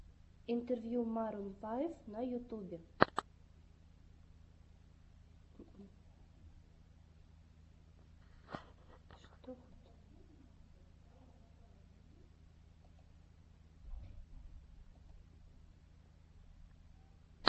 интервью марун файв на ютюбе